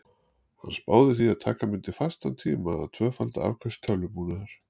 Hann spáði því að taka mundi fastan tíma að tvöfalda afköst tölvubúnaðar.